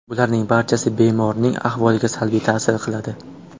Bularning barchasi bemorning ahvoliga salbiy ta’sir qiladi.